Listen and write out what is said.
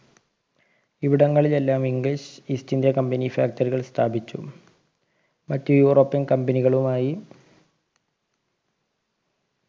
ഇവിടങ്ങളിലെല്ലാം english east india company factory കൾ സ്ഥാപിച്ചു മറ്റ് european company കളുമായി